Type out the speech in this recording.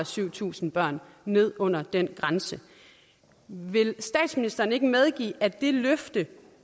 syv tusind børn ned under den grænse vil statsministeren ikke medgive at det løfte